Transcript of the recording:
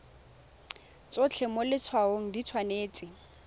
tsotlhe mo letshwaong di tshwanetse